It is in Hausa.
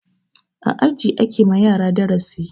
A aji ake yi ma yara darasi.